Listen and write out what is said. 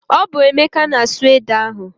Ọ bụ Emeka na-asụ ede ahụ.